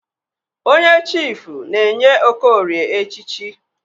Onye chifụ na-enye Okorie echichi.